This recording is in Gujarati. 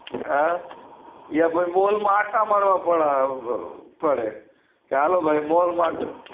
હ યા મોલ માં આંટા મારવા પડે પડે હાલો ભાઈ મોલ માંટ